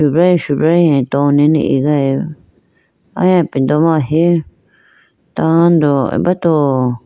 Subrayi subrayi atowe nene igayibi aya ipindo ma ahi tando abato.